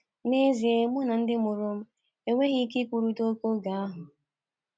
N’ezie mụ na ndị ndị mụrụ m enweghị ike ikwurịta okwu n’oge ahụ.